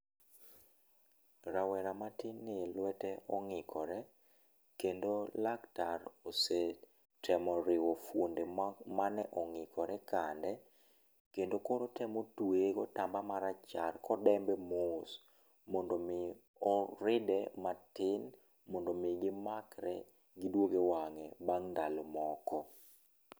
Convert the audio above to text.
Rawera matin ni lwete ong'ikore, kendo laktar osetemo riwo fuonde ma mane ong'ikore kande, kendo koro otemo tueye gotamba marachar kodembe mos mondo mi oride matin mondo mi gimakre giduog ewang'e bang' ndalo moko.